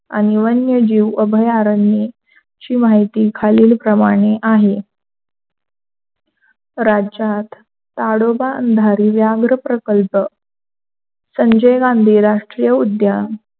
आणि वन्यजीव अभयारण्याची माहिती खालील प्रमाणे आहे. राज्यात ताडोबा अंधारी प्रकल्प, संजय गांधी राष्ट्रीय उद्यान,